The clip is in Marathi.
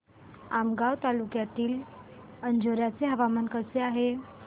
आमगाव तालुक्यातील अंजोर्याचे हवामान कसे आहे